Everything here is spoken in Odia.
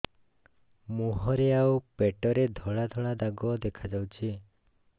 ମୁହଁରେ ଆଉ ପେଟରେ ଧଳା ଧଳା ଦାଗ ଦେଖାଯାଉଛି